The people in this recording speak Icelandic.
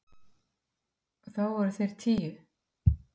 og þá voru þeir tíu.